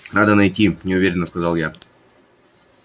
надо найти неуверенно сказал я